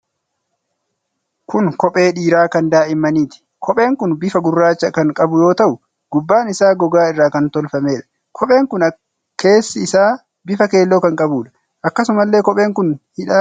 Kun kophee dhiiraa kan daa'immaniiti. Kopheen kun bifa gurraacha kan qabu yoo ta'u, gubbaan isaa gogaa irraa kan tolfameedha. Kopheen kun keessi isaa bifa keelloo kan qabuudha. Akkasumallee kopheen kun hidhaa kan qabuudha.